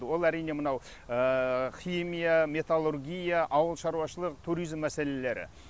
ол әрине мынау химия металлургия ауылшаруашылық туризм мәселелері